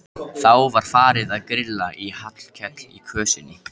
Þá var farið að grilla í Hallkel í kösinni.